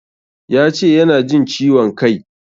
Ya ce yana jin ciwon kai.